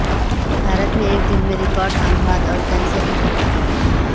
بھارت میں ایک دن میں ریکارڈ اموات اور کیسز رپورٹ